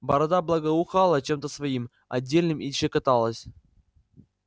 борода благоухала чем-то своим отдельным и щекоталась